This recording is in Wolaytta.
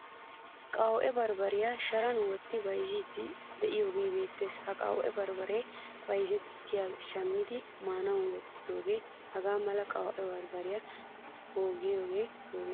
Qawu'ee barbbariyaa sharan wottidi bayzzidi de'iyoge beettees. Ha qawu'ee barbbare bayzzetiyageye shammidi maanawu wottidoge? Hagaa mala qawu'ee barbare pogiye pogenne?